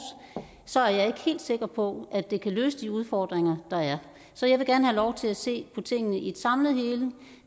så er jeg ikke helt sikker på at det kan løse de udfordringer der er så jeg vil gerne have lov til at se på tingene i et samlet hele